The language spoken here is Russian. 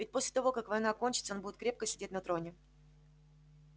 ведь после того как война кончится он будет крепко сидеть на троне